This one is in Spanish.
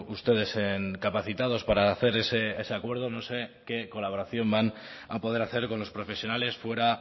ustedes capacitados para hacer ese acuerdo no sé qué colaboración van a poder hacer con los profesionales fuera